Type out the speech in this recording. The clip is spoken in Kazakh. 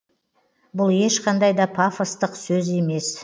бұл ешқандай да пафостық сөз емес